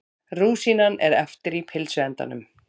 Rúsínan er eftir í pylsuendanum.